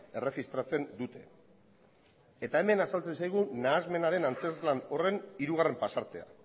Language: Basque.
erregistratzen dute eta hemen azaltzen zaigu nahasmenaren antzezlan horren hirugarren pasartea